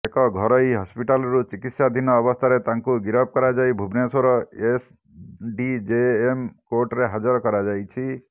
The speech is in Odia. ଏକ ଘରୋଇ ହସ୍ପିଟାଲରୁ ଚିକିତ୍ସାଧୀନ ଅବସ୍ଥାରେ ତାଙ୍କୁ ଗିରଫ କରାଯାଇ ଭୁବନେଶ୍ବର ଏସଡ଼ିଜେଏମ କୋର୍ଟରେ ହଜାର କରାଯାଇଛି